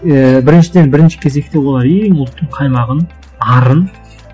ііі біріншіден бірінші кезекте олар ең ұлттың қаймағын арын